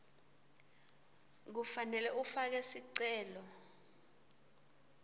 kufanele ufake sicelo